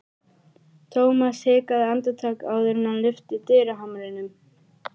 Thomas hikaði andartak áður en hann lyfti dyrahamrinum.